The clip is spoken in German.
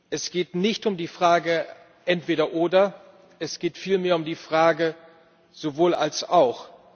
Es geht nicht um die Frage entweder oder, es geht vielmehr um die Frage sowohl als auch.